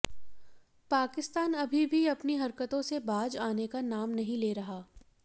पाकिस्तान अभी भी अपनी हरकतों से बाज आने का नाम नहीं ले रहा